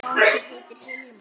Sá strákur heitir Hilmar.